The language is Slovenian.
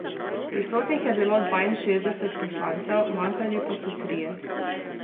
Prisotnih je bilo dvainšestdeset poslancev, manjkali pa so trije.